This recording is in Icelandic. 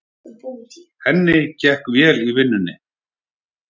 Henni gekk vel í vinnunni.